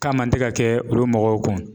K'a man tɛ ka kɛ olu mɔgɔw kun .